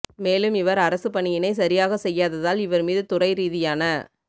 மேலும் இவர் அரசுப் பணியினை சரியாக செய்யாததால் இவர் மீது துறைரீதியான